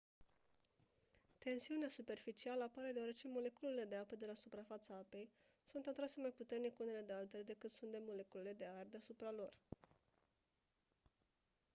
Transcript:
tensiunea superficială apare deoarece moleculele de apă de la suprafața apei sunt atrase mai puternic unele de altele decât sunt de moleculele de aer de deasupra lor